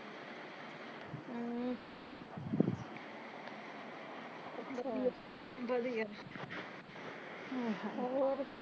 ਵਧੀਆ